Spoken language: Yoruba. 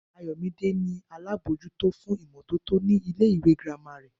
Ayò̩mídé ni alábòójútó fún ìmó̩tótó ní ilé ìwé girama rè̩